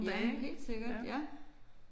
Ja men helt sikkert ja